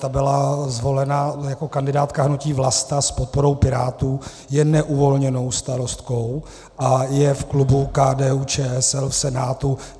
Ta byla zvolena jako kandidátka hnutí Vlasta s podporou Pirátů jen neuvolněnou starostkou a je v klubu KDU-ČSL v Senátu.